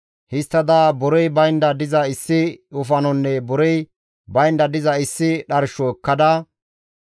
Histtada borey baynda diza issi wofanonne borey baynda diza issi dharsho ekkada,